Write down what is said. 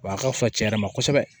Wa a ka fusa cɛn yɛrɛ ma kosɛbɛ